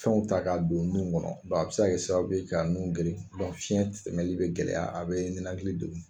Fɛnw ta ka don nun kɔnɔ a bɛ se kɛ sababu ye ka nun geren fiyɛn tɛmɛli bɛ gɛlɛya a bɛ nenakili degun.